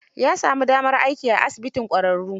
Ya sami damar aiki ai asibitin ƙwararru.